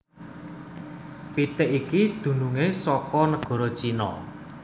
Pitik iki dununge saka negara Cina